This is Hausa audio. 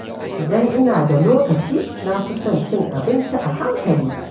Idan ina da lokaci, na fi son cin abinci a hankali.